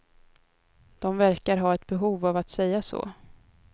De verkar ha ett behov av att säga så.